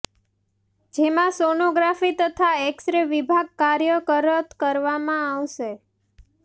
જેમાં સોનોગ્રાફી તથા X ray વિભાગ કાર્યરત કરવામાં આવશે